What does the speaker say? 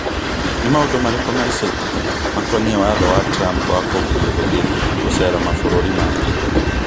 Nĩ maũndũ marĩkũ ma ica ikuhĩ makoniĩ watho wa Trump wa kũgirio gũthiĩ gũcera mabũrũri mangĩ